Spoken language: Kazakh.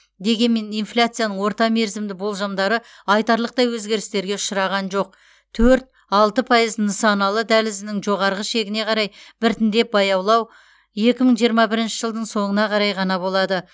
дегенмен инфляцияның орта мерзімді болжамдары айтарлықтай өзгерістерге ұшыраған жоқ төрт алты пайыз нысаналы дәлізінің жоғарғы шегіне қарай біртіндеп баяулау екі мың жиырма бірінші жылдың соңына қарай ғана болады